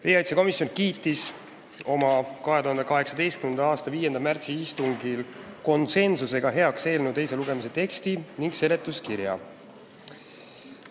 Riigikaitsekomisjon kiitis oma 2018. aasta 5. märtsi istungil heaks eelnõu teise lugemise teksti ja seletuskirja.